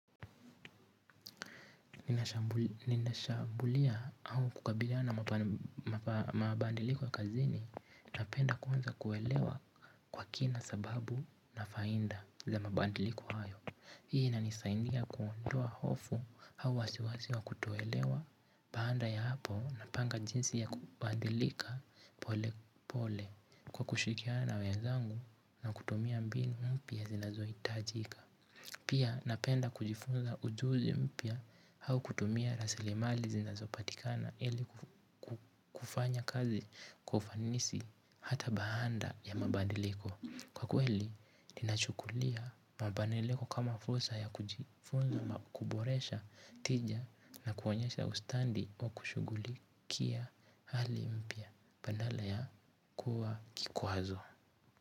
Ninashambulia au kukabiliana mabadiliko ya kazini. Napenda kuanza kuelewa kwa kina sababu na faida za mabadiliko hayo. Hii inanisaidia kuondoa hofu au wasiwasi wa kutoelewa. Baada ya hapo napanga jinsi ya kubadilika pole pole kwa kushirikiana wenzangu na kutumia mbinu mpya zinazohitajika. Pia napenda kujifunza ujuzi mpya au kutumia rasilimali zinazopatikana ili kufanya kazi kwa ufanisi hata baada ya mabadiliko. Kwa kweli, ninachukulia mabadiliko kama fursa ya kujifunza, kuboresha tija na kuonyesha ustadi wa kushughulikia hali mpya. Badala ya kuwa kikwazo.